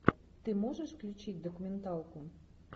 ты можешь включить документалку